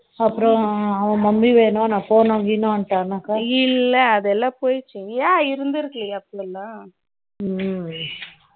அப்புறம் அவன் mummy வேணாம் நான் போனா கேனான் கேன்டானா இல்ல அதெல்லாம் போயிடுச்சு ஏன்